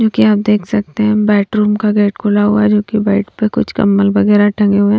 जोकि आप देख सकते हैं बेडरूम का गेट खुला हुआ है जो कि बेड पर कुछ कंबल वगैरह टंगे हुए--